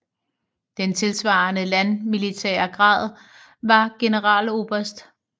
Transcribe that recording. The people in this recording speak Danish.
Den tilsvarende landmilitære grad var Generaloberst